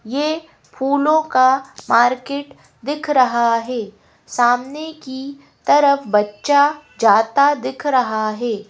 ये फूलों का मार्केट दिख रहा है सामने की तरफ बच्चा जाता दिख रहा है।